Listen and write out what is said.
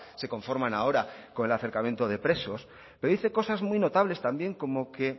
se conforman ahora con el acercamiento de presos pero dice cosas muy notables también como que